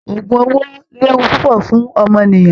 Ògùn owó léwu púpọ̀ fún ọmọnìyàn